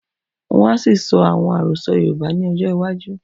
Wọ́n á ṣì sọ àwon Àròsọ́ Yorùbá ni ọjọ́ iwájú